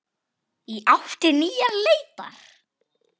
Í átt til nýrrar leitar.